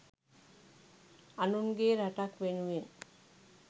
අනුන්ගේ රටක් වෙනුවෙන්